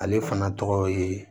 Ale fana tɔgɔ ye